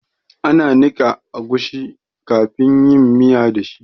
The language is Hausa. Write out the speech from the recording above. Ana niƙa agushi kafin yin miya da shi